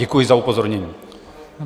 Děkuji za upozornění.